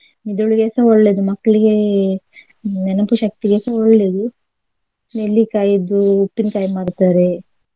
ಮೆದುಳಿಗೆಸ ಒಳ್ಳೆಯದು ಮಕ್ಕಳಿಗೆ ನೆನಪು ಶಕ್ತಿಗೆಸ ಒಳ್ಳೆಯದು. ನೆಲ್ಲಿಕಾಯಿದು ಉಪ್ಪಿನಕಾಯಿ ಮಾಡ್ತಾರೆ.